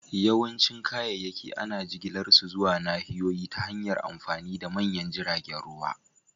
Yawancin kayayyaki ana jigilar su zuwa nahiyoyi ta hanyar amfani da manyan jiragen ruwa